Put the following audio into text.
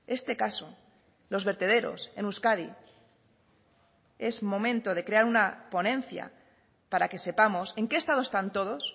este caso los vertederos en euskadi es momento de crear una ponencia para que sepamos en qué estado están todos